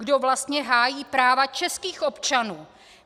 Kdo vlastně hájí práva českých občanů?